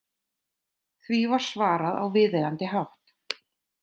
Því var svarað á viðeigandi hátt.